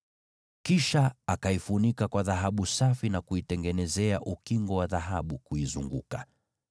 Kisha akaifunika kwa dhahabu safi, na kuitengenezea ukingo wa dhahabu kuizunguka pande zote.